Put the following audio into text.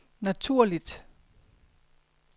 naturligt